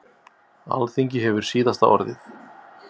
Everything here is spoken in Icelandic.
Alþingi hefur síðasta orðið